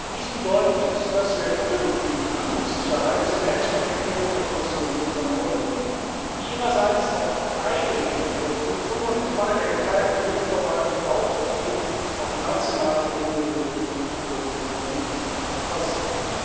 Dies bedeutet, dass wir künftig Prüfungssicherheit zur Managementerklärung der Kommission liefern wollen, die ihrerseits auf eigenen Überprüfungen und im Falle der geteilten Mittelverwaltung auch auf den auf nationaler Ebene durchgeführten Überprüfungen basiert.